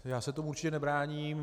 Já se tomu určitě nebráním.